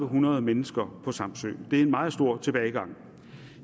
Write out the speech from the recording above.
hundrede mennesker på samsø det er en meget stor tilbagegang